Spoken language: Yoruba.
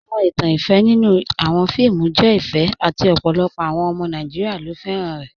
Awọn ìtàn ìfẹ nínu awọn fíìmù jẹ ìfẹ àti ọ̀pọ̀lọpọ̀ awọn ọmọ Nàìjíríà ló fẹ́ran rẹ̀.